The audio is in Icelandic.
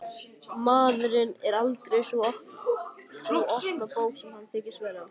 Maðurinn er aldrei sú opna bók sem hann þykist vera.